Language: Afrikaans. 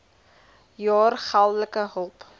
jaar geldelike hulp